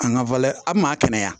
An ka a maa kɛnɛya